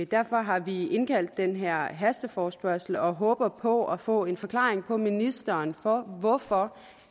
derfor har vi indkaldt til den her hasteforespørgsel og håber på at få en forklaring fra ministeren på hvorfor